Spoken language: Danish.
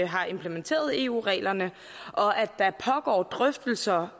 har implementeret eu reglerne og at der pågår drøftelser